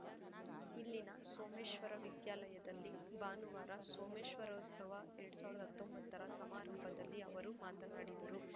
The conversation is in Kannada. ಇಲ್ಲಿನ ಸೋಮೇಶ್ವರ ವಿದ್ಯಾಲಯದಲ್ಲಿ ಭಾನುವಾರ ಸೋಮೇಶ್ವರೋತ್ಸವ ಎರಡ್ ಸಾವಿರದ ಹತ್ತೊಂಬತ್ತರ ಸಮಾರಂಭದಲ್ಲಿ ಅವರು ಮಾತನಾಡಿದರು